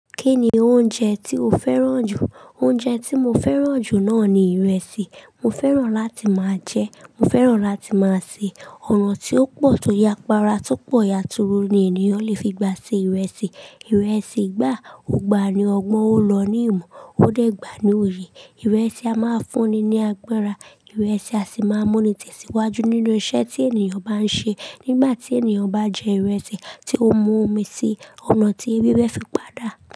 Kí ni oúnjẹ tí o fẹ́ràn jù? Oúnjẹ tí mo fẹ́ràn jù náà ni ìrẹsì. Mo fẹ́ràn láti máa jẹ́, mo fẹ́ràn láti máa se. Ọ̀nà tí ó pọ̀ tó yapara tó pọ̀ yàturu ni ènìyàn le fi gba se ìrẹsì. Ìrẹsì gbà, ó gba ni ọgbọ́n ó lọ ní ìmọ, ó dẹ̀ gba ní oyè. Ìrẹsì a máa ń fúnni ní agbára, ìrẹsì a sì máa ń mú ni tẹ̀síwájú nínú iṣẹ́ tí ènìyàn bá ń ṣe. Nígbà tí ènìyàn bá jẹ ìrẹsì tí ó mu omi si, om'à tí ewé fé fi pádà.